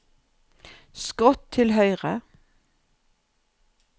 skrått til høyre